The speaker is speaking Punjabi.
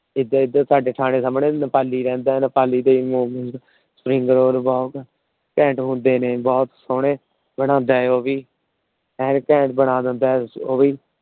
ਏਦਾਂ ਏਦਾਂ ਸਾਡੇ ਠਾਣੇ ਸਾਹਮਣੇ ਵੀ ਨੇਪਾਲੀ ਰਹਿੰਦਾ। ਨੇਪਾਲੀ ਦੇ ਵੀ MomosSpringroll ਘੈਂਟ ਹੁੰਦੇ ਨੇ। ਬਹੁਤ ਸੋਹਣੇ ਬਨਾਉਂਦਾ ਉਹ ਵੀ। ਹਰ ਇੱਕ Item ਬਣਾ ਦਿੰਦਾ ਉਹ ਵੀ।